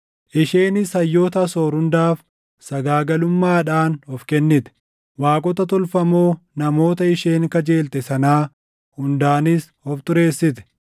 Isheenis hayyoota Asoor hundaaf sagaagalummaadhaan of kennite; waaqota tolfamoo namoota isheen kajeelte sanaa hundaanis of xureessite.